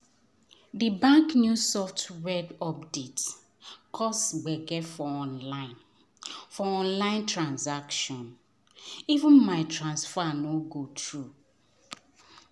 di bank new software update cause gbege for online for online transaction — even my transfer no go through.